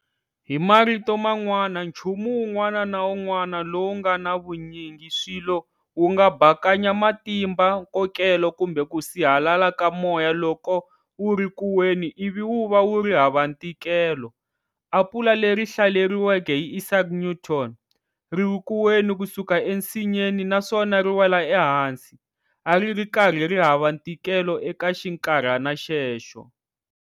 Hi marito man'wana chumu wun'wana na wun'wana lowu ngana vunyingiswilo wu nga bakanya matimbankokelo kumbe ku sihalala ka moya loko wuri ku wena ivi wuva wuri hava ntikelo, Apula leri hlaleriweke hi Isaac Newton, riri kuweni kusuka e nsinyeni naswona ri wela ehansi, ari ri karhi ri hava ntikelo eka xinkarhana xexo.